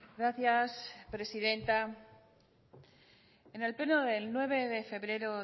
gracias presidenta en el pleno del nueve de febrero